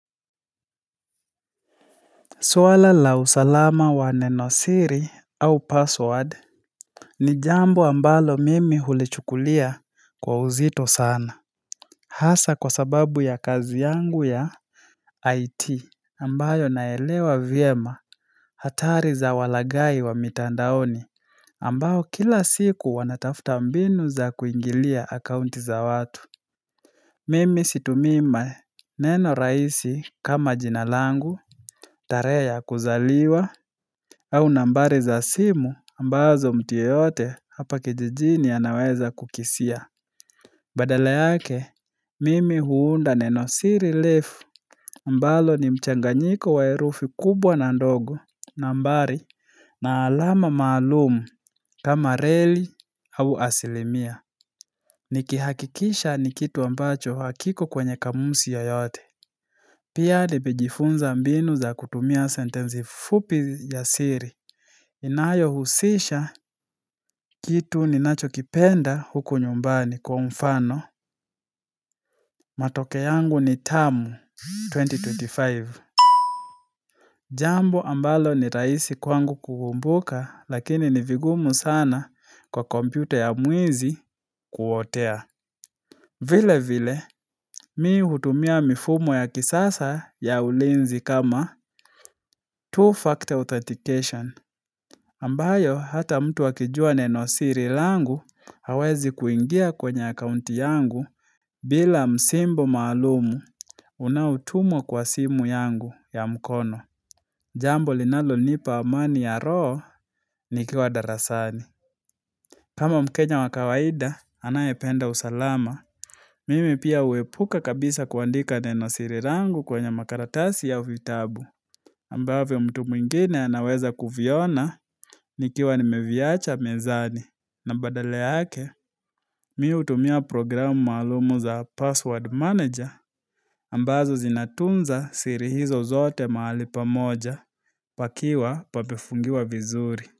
Swala la usalama wa neno siri au password ni jambo ambalo mimi hulichukulia kwa uzito sana. Hasa kwa sababu ya kazi yangu ya IT. Ambayo naelewa vyema, hatari za walaghai wa mitandaoni, ambao kila siku wanatafta mbinu za kuingilia akaunti za watu. Mimi situmii mae neno raisi kama jinalangu, tarehe ya kuzaliwa au nambari za simu, ambazo mtu yeyote hapa kijijini anaweza kukisia. Badala yake, mimi huunda neno siri lefu, ambalo ni mchanganyiko wa erufi kubwa na ndogo. Nambari, na alama maalum, kama reli, au asilimia. Nikihakikisha ni kitu ambacho hakiko kwenye kamusi yoyote. Pia nimejifunza mbinu za kutumia sentenzi fupi ya siri. Inayohusisha kitu ninachokipenda huku nyumbani, kwa mfano Matoke yangu ni tamu 2025. Jambo ambalo ni raisi kwangu kukumbuka lakini ni vigumu sana kwa kompyuta ya mwizi kuotea. Vile vile, mii hutumia mifumo ya kisasa ya ulinzi kama two-factor authentication. Ambayo hata mtu akijua nenosiri langu, hawezi kuingia kwenye akounti yangu bila msimbo maalumu, unaotumwa kwa simu yangu ya mkono. Jambo linalo nipa amani ya roho, nikiwa darasani. Kama mkenya wa kawaida, anayependa usalama. Mimi pia uepuka kabisa kuandika nenosiri rangu kwenye makaratasi ya vitabu. Ambavyo mtu mwingine anaweza kuviona, nikiwa nimeviacha mezani, na badale yake, mii htumia programu maalumu za password manager ambazo zinatunza siri hizo zote mahali pamoja, pakiwa pabefungiwa vizuri.